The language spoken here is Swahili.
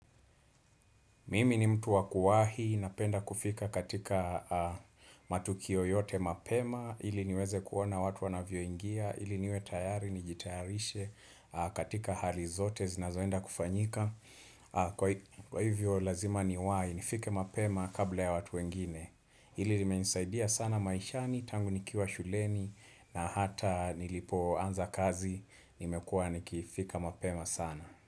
Mimi ni mtu wakuwahi, napenda kufika katika matukio yote mapema, ili niweze kuona watu wanavyoingia, ili niwe tayari, nijitayarishe katika hali zote, zinazoenda kufanyika. Kwa hivyo lazima niwahi, nifike mapema kabla ya watu wengine. Hili nimenisaidia sana maishani, tangu nikiwa shuleni, na hata nilipo anza kazi, nimekuwa nikifika mapema sana.